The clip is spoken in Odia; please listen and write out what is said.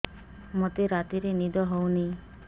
ମୋତେ ରାତିରେ ନିଦ ହେଉନି